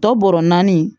Tɔ bɔrɔ naani